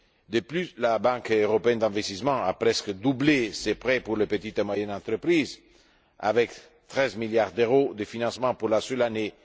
De plus, la Banque européenne d'investissement a presque doublé ses prêts pour les petites et moyennes entreprises, avec 13 milliards d'euros de financement pour la seule année